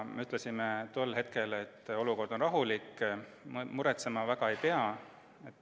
Me ütlesime tol hetkel, et olukord on rahulik, muretsema väga ei pea.